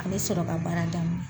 A bɛ sɔrɔ ka baara daminɛ